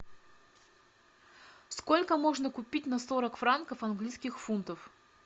сколько можно купить на сорок франков английских фунтов